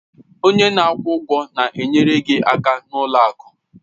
Onye na-akwụ ụgwọ na-enyere gị aka n'ụlọ akụ.